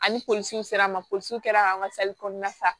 Ani polisiw sera an ma polisiw kɛra ka an ka kɔnɔna fa